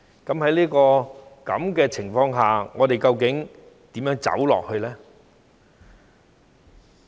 在這種情況下，我們究竟如何走下去呢？